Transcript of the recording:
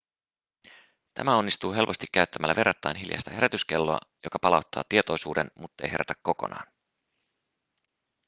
tämä onnistuu helposti käyttämällä verrattain hiljaista herätyskelloa joka palauttaa tietoisuuden muttei herätä kokonaan